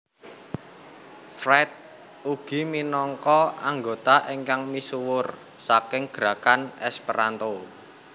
Fried ugi minangka anggota ingkang misuwur saking gerakan Esperanto